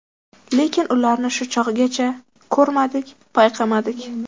Lekin ularni shu chog‘gacha ko‘rmadik, payqamadik.